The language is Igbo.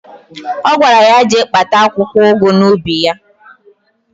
Ọ gwara ya jee kpata akwụkwọụgụ n'ubi ya.